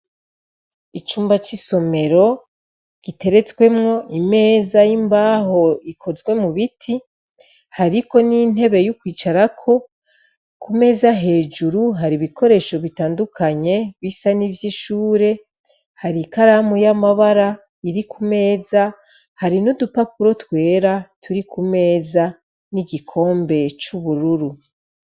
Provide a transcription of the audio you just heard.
Icumba c'isomero, giteretswemwo imeza y'imbaho ikozwe mu biti, hariko n'intebe yo kwicarako, ku meza hejuru hari ibikoresho bitandukanye bisa n'ivy'ishure, hari ikaramu y'amabara iri ku meza, hari n'udupapuro twera turi ku meza, n'igikombe c'ubururu.